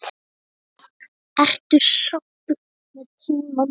Ertu sáttur með tímann?